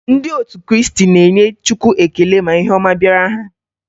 Ndị otu Kriisti na-enye chukwu ekele ma ihe ọma bịara ha.